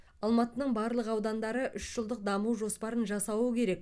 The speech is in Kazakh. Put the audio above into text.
алматының барлық аудандары үш жылдық даму жоспарын жасауы керек